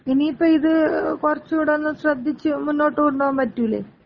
ഇനിയിപ്പോ ഇത് കൊറച്ചൂടൊന്ന് ശ്രദ്ധിച്ച് മുന്നോട്ടുകൊണ്ടുപോകാമ്പറ്റൂലെ?